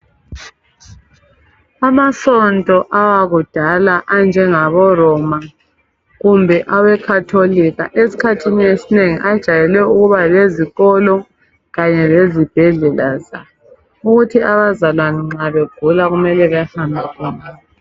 Amasonto awakudala anjengaboRoma kumbe aweCatholic esikhathini esinengi ajayele ukuba lezikolo kanye lezibhedlela zabo. Ukuthi abazalwane nxa begula kumele ukuthi behambe khona.